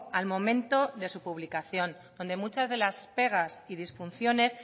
al momento de su publicación donde muchas de las pegas y disfunciones